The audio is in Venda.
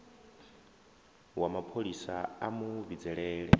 wa mapholisa a mu vhidzelela